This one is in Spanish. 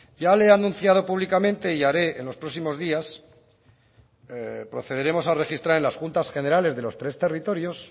ya le he anunciado públicamente y haré en los próximos días procederemos a registrar en las juntas generales de los tres territorios